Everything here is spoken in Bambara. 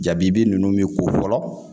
Jabi ninnu min ko fɔlɔ